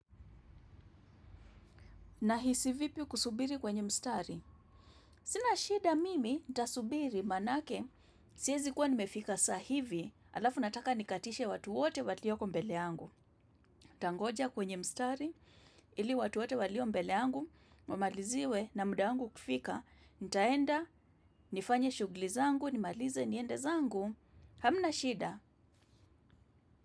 Nahisi vipi kusubiri kwenye mstari. Sina shida mimi nitasubiri manake. Siezi kuwa nimefika saa hivi. Alafu nataka nikatishe watu wote walioko mbele yangu. Ntangoja kwenye mstari. Ili watu wote walio mbele yangu. Wamaliziwe na muda wangu ukifika. Nitaenda, nifanye shugli zangu, nimalize, niende zangu. Hamna shida.